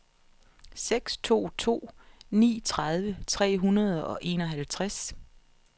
seks to to ni tredive tre hundrede og enoghalvtreds